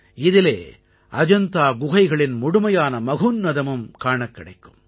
இதிலே அஜந்தா குகைகளின் முழுமையான மகோன்னதமும் காணக் கிடைக்கும்